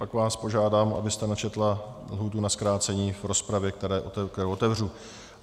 Pak vás požádám, abyste načetla lhůtu na zkrácení v rozpravě, kterou otevřu.